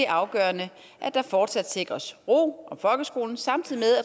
afgørende at der fortsat sikres ro om folkeskolen samtidig